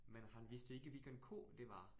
Men han vidste ikke, hvilken ko det var